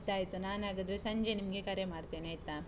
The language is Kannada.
ಆಯ್ತಾಯ್ತು. ನಾನ್ ಹಾಗಾದ್ರೆ ಸಂಜೆ ನಿಮ್ಗೆ ಕರೆ ಮಾಡ್ತೇನೆ ಆಯ್ತಾ.